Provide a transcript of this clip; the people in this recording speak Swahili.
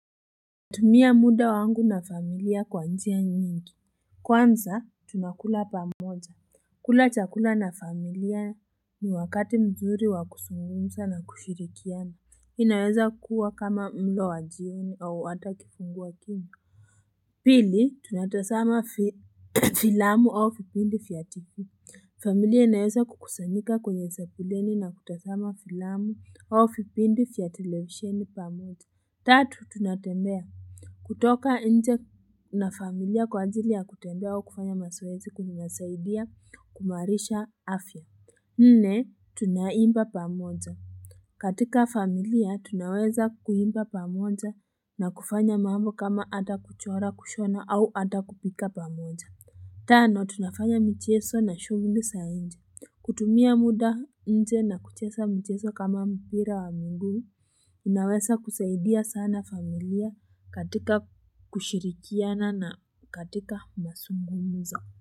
Natumia muda wangu na familia kwa njia nyingi, kwanza tunakula pamoja, kula chakula na familia ni wakati mzuri wa kuzungumza na kushirikiana, inaweza kuwa kama mlo wa jioni au hata kifungua kinywa. Pili, tunatazama filamu au fipindi fya TV, familia inaweza kukusanyika kwenye sepuleni na kutazama filamu au fipindi fya televisheni pamoja. Tatu, tunatembea. Kutoka nje na familia kwa ajili ya kutembea au kufanya mazoezi kunasaidia kumaarisha afya. Nne, tunaimba pamoja. Katika familia, tunaweza kuimba pamoja na kufanya mambo kama ata kuchora kushona au ata kupika pamoja. Tano, tunafanya mchezo na shuguli za nje. Kutumia muda nje na kucheza mchezo kama mpira wa miguu. Unaweza kusaidia sana familia katika kushirikiana na katika mazungumzo.